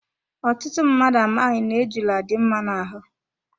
Ọtụtụ mmadụ amaghị na ejula dị mma na ahụ.